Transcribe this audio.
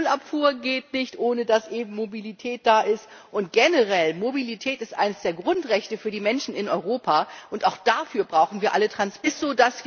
Die Müllabfuhr geht nicht, ohne dass eben Mobilität da ist, und generell ist Mobilität eines der Grundrechte für die Menschen in Europa, und auch dafür brauchen wir alle Transportmittel.